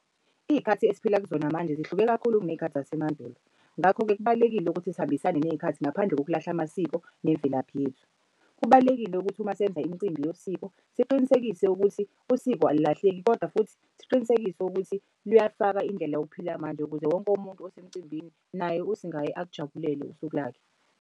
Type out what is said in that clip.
Iy'khathi esiphila kuzona manje zihluke kakhulu kuney'khathi zasemandulo. Ngakho-ke kubalulekile ukuthi sihambisane ney'khathi ngaphandle zokulahla amasiko nemvelaphi yethu. Kubalulekile ukuthi uma senza imicimbi yosiko siqinisekise ukuthi usiko alilahleki, kodwa futhi siqinisekise ukuthi luyafaka indlela yokuphila yamanje ukuze wonke umuntu osemcimbini naye usingayi akujabulele usuku lakhe.